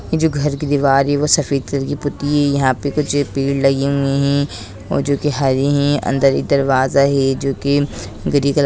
ये जो घर की दीवार है वो सफेद कलर की पुती है यहाँ पे कुछ पेड़ लगे हुए है जो की हरे हैं अंदर एक दरवाजा है जो के ग्रे कलर --